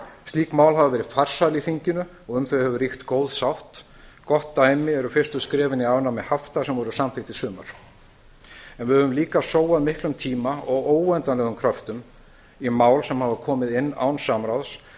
slík mál hafa verið farsæl í þinginu og um þau hefur ríkt góð sátt gott dæmi er fyrstu skrefin í afnámi hafta sem voru samþykkt í sumar en við höfum líka sóað miklum tíma og óendanlegum kröftum í mál sem hafa komið inn án samráðs